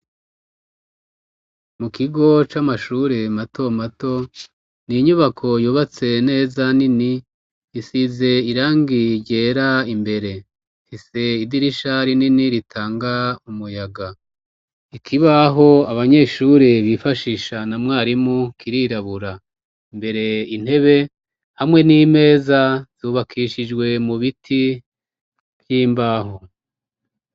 Mu kigo c'amashure mato mato, ni inyubako yubatse neza nini, isize irangiryera imbere hise idirisha rinini ritanga umuyaga, ikibaho abanyeshure bifashisha na mwarimu kirirabura, mbere intebe hamwe n'imeza zubakishijwe mu biti vy'imbahu.